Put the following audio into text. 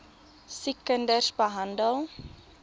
siek kinders beland